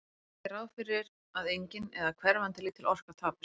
Við verðum að gera ráð fyrir að engin, eða hverfandi lítil, orka tapist.